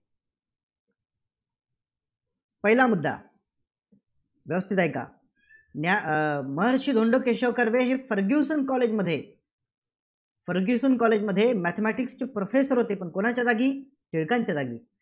पहिला मुद्दा व्यवस्थित ऐका न्या अं महर्षी धोंडो केशव कर्वे हे फर्ग्युसन college मध्ये फर्ग्युसन college मध्ये mathematics चे professor होते. पण कुणाच्या जागी? टिळकांच्या जागी.